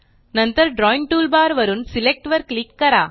नंतर drawing toolbar वरून select वर क्लिक करा